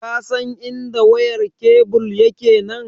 Ka san idan wayar kebul yake ne?